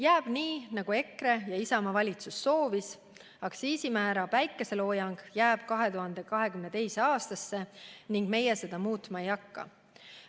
Jääb nii, nagu EKRE ja Isamaa valitsus soovis: aktsiisimäära päikeseloojang jääb 2022. aastasse ning meie seda muutma ei hakka.